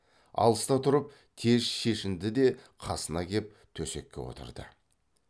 алыста тұрып тез шешінді де қасына кеп төсекке отырды